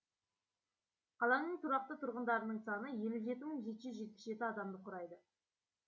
қаланың тұрақты тұрғындарының саны елі жеті мың жеті жүз жетпіс жеті адамды құрайды